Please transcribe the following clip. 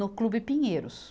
No Clube Pinheiros.